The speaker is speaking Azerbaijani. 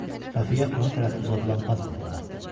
Xəfiyyə ona tərəf uzadılan pasporta baxdı.